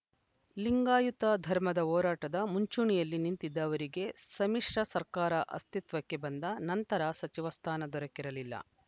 ಲಿಂಗಾಯತ ಧರ್ಮದ ಹೋರಾಟದ ಮುಂಚೂಣಿಯಲ್ಲಿ ನಿಂತಿದ್ದ ಅವರಿಗೆ ಸಮ್ಮಿಶ್ರ ಸರ್ಕಾರ ಅಸ್ತಿತ್ವಕ್ಕೆ ಬಂದ ನಂತರ ಸಚಿವ ಸ್ಥಾನ ದೊರಕಿರಲಿಲ್ಲ